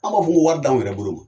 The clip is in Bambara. An b'a fɔ ko wari d'anw yɛrɛ bolo